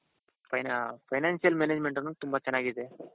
financial management ಅನ್ನೋದು ತುಂಬಾ ಚೆನ್ನಾಗಿದೆ ಅಂತಾರೆ.